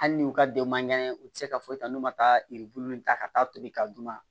Hali ni u ka denw man kɛnɛ u tɛ se ka foyi ta n'u ma taa yiribulu in ta ka taa tobi ka d'u ma